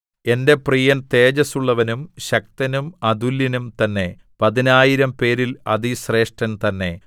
എന്‍റെ പ്രിയൻ തേജസുള്ളവനും ശക്തനും അതുല്യനും തന്നെ പതിനായിരംപേരിൽ അതിശ്രേഷ്ഠൻ തന്നെ